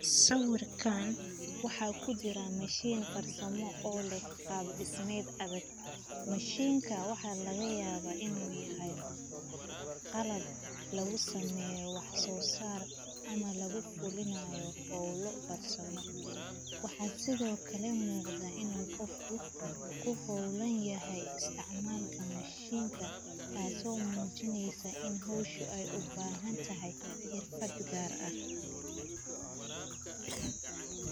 Sawirkan waxa kujiran mashin dhismo oo lex qab dhismed adag. Mashinka waxa laga yaba inu yahay qalab lagu sameyo wax sosaar ama lagu qulinayo howlo farsamo .Waxa sidokale muqda inu qofka ku howlan yahay isticmalka mashinkan, taso mujineysa ini howsha u bahantahay xirfad gar ah .